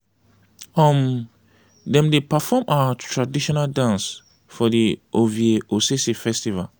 um dem dey perform our traditional dance for di ovia osese festival.